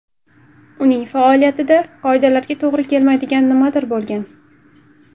Uning faoliyatida qoidalarga to‘g‘ri kelmaydigan nimadir bo‘lgan.